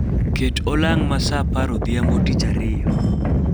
ket olang ma saa apar odhiambo tich ariyo